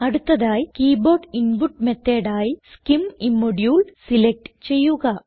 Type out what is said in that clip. അടുത്തതായി keyboard input method ആയി scim ഇമ്മോഡുലെ സിലക്റ്റ് ചെയ്യുക